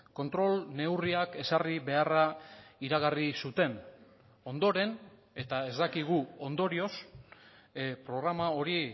kontrol neurriak ezarri beharra iragarri zuten ondoren eta ez dakigu ondorioz programa hori